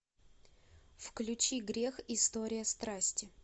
включи грех история страсти